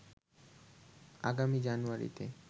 আগামী জানুয়ারিতে